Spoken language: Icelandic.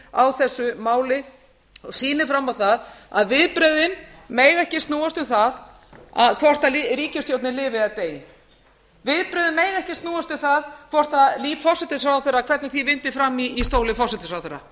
á þessu máli og sýni fram á það að viðbrögðin mega ekki snúast um það hvort ríkisstjórnin lifi eða deyi viðbrögðin mega ekki snúast um það hvort líf forsætisráðherra hvernig því vindur fram í stóli forsætisráðherra